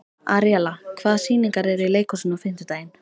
Aríella, hvaða sýningar eru í leikhúsinu á fimmtudaginn?